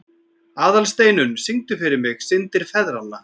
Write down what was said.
Aðalsteinunn, syngdu fyrir mig „Syndir feðranna“.